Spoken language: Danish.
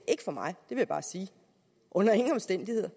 ikke for mig vil jeg bare sige under ingen omstændigheder